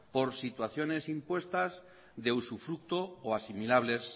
por situaciones impuestas de usufructo o asimilables